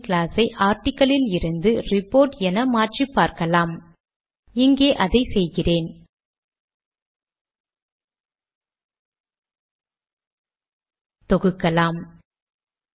டாக்குமென்டை துவக்கி பின் கடிதத்தையும் துவங்குவோம்